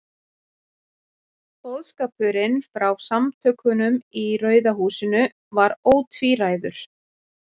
Boðskapurinn frá Samtökunum í Rauða húsinu var ótvíræður.